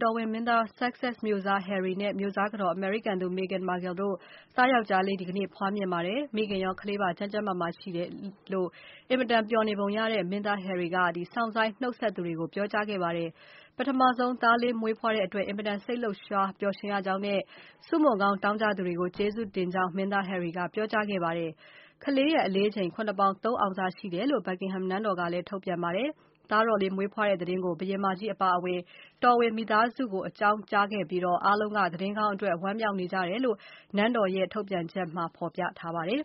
တော်ဝင်မင်းသား Sussex မြို့စား Harry နဲ့ မြို့စားကတော် အမေရိကန်သူ Magen Marchel တို့ သားယောင်္ကျားလေး ဒီကနေ့ ဖွားမြင်ပါတယ်။ မိခင်ရော ကလေးပါ ကျန်းကျန်းမာမာရှိတယ်လို့ အင်မတန်ပျော်နေပုံရတဲ့ မင်းသား Harry က စောင့်ဆိုင်း နှုတ်ဆက်သူတွေကို ပြောကြားခဲ့ပါတယ်။ ပထမဆုံး သားလေး မွေးဖွားတဲ့အတွက် အင်မတန် စိတ်လှုပ်ရှား ပျော်ရွှင်ရကြောင်းနဲ့ ဆုမွန်ကောင်း တောင်းကြသူတွေကို ကျေးဇူးတင်ကြောင်း မင်းသား Harry ကပြောပါတယ်။ ကလေးရဲ့ အလေးချိန် ၇ ပေါင် ၃ အောင်စရှိတယ်လို့ Buckingham Palace ကထုတ်ပြန်ပါတယ်။ သားတော်လေး မွေးဖွားတဲ့သတင်းကို ဘုရင်မကြီးအပါအဝင် တော်ဝင်မိသားစုကို အကြောင်းကြားခဲ့ပြီး အားလုံးက သတင်းကောင်းအတွက် ဝမ်းမြောက်နေကြတယ်လို့ နန်းတော်ရဲ့ ထုတ်ပြန်ချက်မှာ ဖော်ပြထားပါတယ်